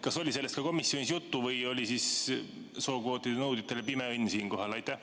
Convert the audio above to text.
Kas oli sellest ka komisjonis juttu või oli see sookvootide nõudjate pime õnn siinkohal?